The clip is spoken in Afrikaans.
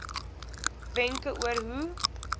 wenke oor hoe